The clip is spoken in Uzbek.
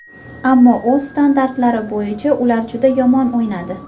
Ammo o‘z standartlari bo‘yicha ular juda yomon o‘ynadi.